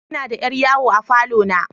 Ina da yar yawo a falo na.